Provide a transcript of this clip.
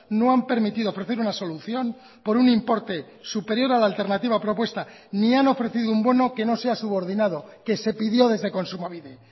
no han permitido ofrecer una solución por un importe superior a la alternativa propuesta ni han ofrecido un bono que no sea subordinado que se pidió desde kontsumobide